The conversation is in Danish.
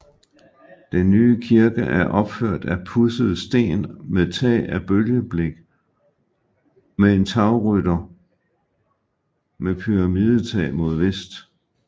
Den nye kirke er opført af pudset sten med tag af bølgeblik med en tagrytter med pyramidetag mod vest